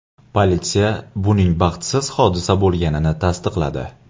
Politsiya buning baxtsiz hodisa bo‘lganini tasdiqladi.